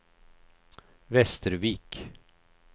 Västervik